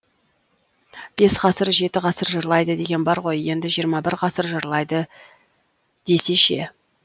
бес ғасыр жеті ғасыр жырлайды деген бар ғой енді жиырма бір ғасыр жырлайды десей ше